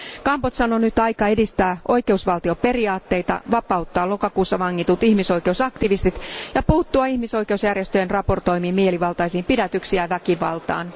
Kambodžan on nyt aika edistää oikeusvaltioperiaatteita, vapauttaa lokakuussa vangitut ihmisoikeusaktivistit ja puuttua ihmisoikeusjärjestöjen raportoimiin mielivaltaisiin pidätyksiin ja väkivaltaan.